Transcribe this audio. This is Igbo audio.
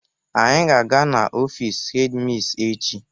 Anyị ga-aga n'ofiisi hedi misi echi.